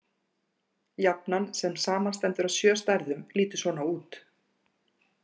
Jafnan, sem samanstendur af sjö stærðum, lítur svona út: